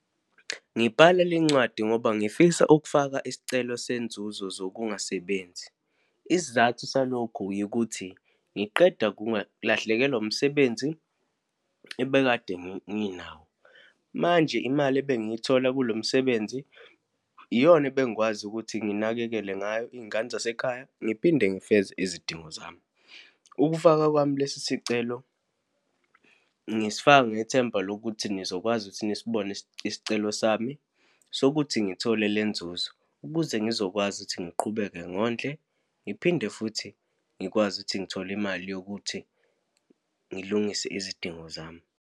Ngibhala lencwadi ngoba ngifisa ukufaka isicelo senzuzo zokungasebenzi. Isizathu salokhu yikuthi, ngiqeda kungalahlekelwa umsebenzi ebekade nginawo. Manje, imali ebengiyithola kulo msebenzi iyona ebengikwazi ukuthi nginakekele ngayo iy'ngane zasekhaya, ngiphinde ngifeze izidingo zami. Ukufaka kwami lesi sicelo, ngisifaka ngethemba lokuthi nizokwazi ukuthi nisibone isicelo sami sokuthi ngithole le nzuzo, ukuze ngizokwazi ukuthi ngiqhubeke ngondle, ngiphinde futhi ngikwazi ukuthi ngithole imali yokuthi ngilungise izidingo zami.